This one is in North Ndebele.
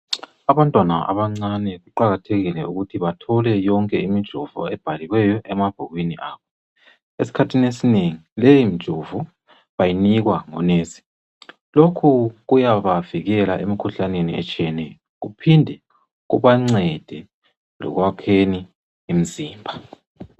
Abantwana abancane kuqakathekile ukuthi bathole yonke imijovo ebhaliweyo emabhukwini abo, esikhathini esinengi leyi mijovo bayinikwa ngo"nurse" lokhu kuyabavikela emikhuhlaneni etshiyeneyo kuphinde kubancede lokwakheni imzimba.